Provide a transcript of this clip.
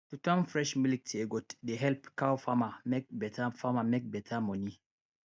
to turn fresh milk to yoghurt dey help cow farmer make better farmer make better money